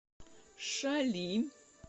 шали